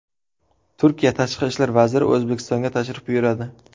Turkiya tashqi ishlar vaziri O‘zbekistonga tashrif buyuradi.